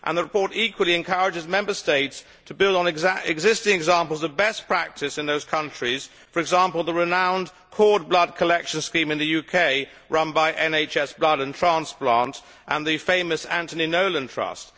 The report equally encourages Member States to build on existing examples of best practice in those countries, for example the renowned cord blood collection scheme in the UK run by NHS Blood and Transplant and the famous Anthony Nolan Trust.